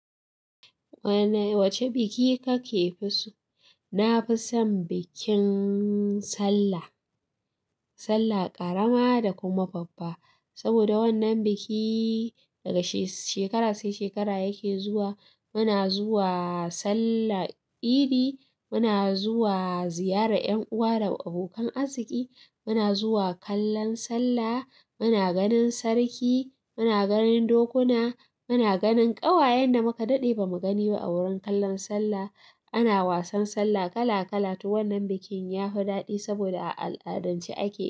Wace biki kake fi so? Na fi son bikin sallah. Sallah ƙarama da kuma babba. Saboda wannan biki daga shekara sai shekara yake zuwa. Muna zuwa sallar idi, muna zuwa ziyarar ƴan uwa da abokan arziki, muna zuwa kallon sallah, muna ganin sarki, muna ganin dokuna, muna ganin ƙawayen da muka daɗe ba mu gani ba a wurin kallon sallah. Ana wasan sallah kala kala. To wannan bikin yafi daɗi saboda a al'adance ake.